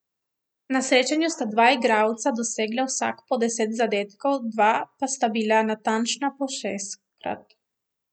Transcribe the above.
Na srečanju sta dva igralca dosegla vsak po deset zadetkov, dva pa sta bila natančna po šestkrat.